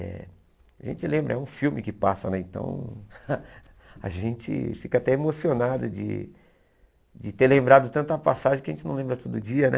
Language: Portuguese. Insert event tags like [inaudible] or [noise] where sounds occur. Eh a gente lembra, é um filme que passa, né então [laughs] a gente fica até emocionado de de ter lembrado tanta passagem que a gente não lembra todo dia, né?